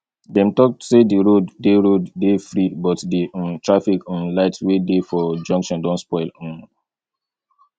dem talk say di road dey road dey free but di um traffic um light wey dey for junction don spoil um